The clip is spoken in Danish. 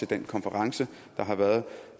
den konference der har været